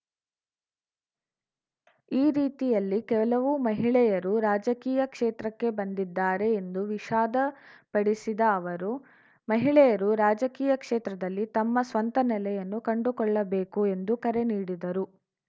ಈ ರೀತಿಯಲ್ಲಿ ಕೆಲವು ಮಹಿಳೆಯರು ರಾಜಕೀಯ ಕ್ಷೇತ್ರಕ್ಕೆ ಬಂದಿದ್ದಾರೆ ಎಂದು ವಿಷಾದ ಪಡಿಸಿದ ಅವರು ಮಹಿಳೆಯರು ರಾಜಕೀಯ ಕ್ಷೇತ್ರದಲ್ಲಿ ತಮ್ಮ ಸ್ವಂತ ನೆಲೆಯನ್ನು ಕಂಡುಕೊಳ್ಳಬೇಕು ಎಂದು ಕರೆ ನೀಡಿದರು